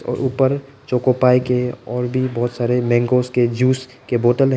और ऊपर चोकोपाइ के और भी बहुत सारे मांगोज उसके जूस के बोतल है।